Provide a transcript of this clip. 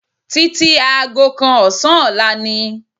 Títí aago kan ọ̀sán ọ̀la ni